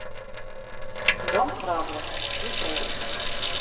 дом храбрых включай